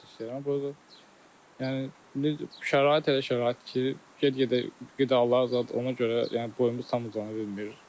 Əlbəttə istəyirəm boy yəni indi şərait elə şəraitdir ki, ged-gedə qidalar zat ona görə yəni boyumuz tam uzana bilmir.